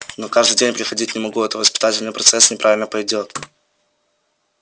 но каждый день приходить не могу а то воспитательный процесс неправильно пойдёт